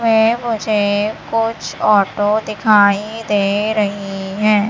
में मुझे कुछ ऑटो दिखाई दे रही हैं।